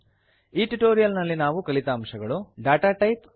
ಈ ಟ್ಯುಟೋರಿಯಲ್ ನಲ್ಲಿ ನಾವು ಕಲಿತ ಅಂಶಗಳು160 ಡಾಟಾ ಟೈಪ್